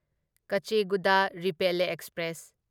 ꯀꯆꯦꯒꯨꯗ ꯔꯤꯄꯦꯜꯂꯦ ꯑꯦꯛꯁꯄ꯭ꯔꯦꯁ